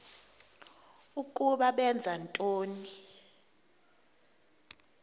ukuba benza ntoni